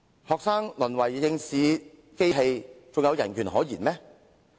學生淪為考試機器，還有人權可言嗎？